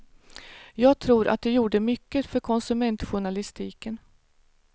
Jag tror att det gjorde mycket för konsumentjournalistiken.